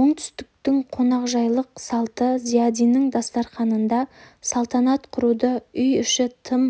оңтүстіктің қонақжайлық салты зиядиннің дастарханында салтанат құруда үй іші тым